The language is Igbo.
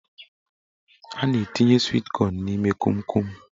A na-etinye swit kọn n'ime konkon.